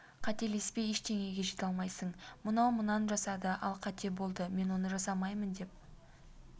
қателеспей ештеңеге жете алмайсың мынау мынан жасады ол қате болды мен оны жасамаймын деп бір